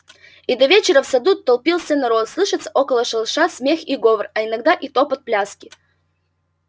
и до вечера в саду толпился народ слышится около шалаша смех и говор а иногда и топот пляски